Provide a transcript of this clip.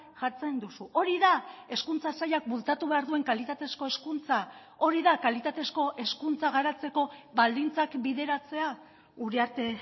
jartzen duzu hori da hezkuntza sailak bultzatu behar duen kalitatezko hezkuntza hori da kalitatezko hezkuntza garatzeko baldintzak bideratzea uriarte